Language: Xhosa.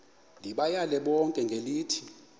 ndibayale bonke ngelithi